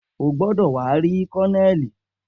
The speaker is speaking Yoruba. O gbọdọ wa ri Kolonelii!